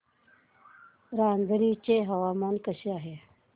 रांझणी चे हवामान कसे आहे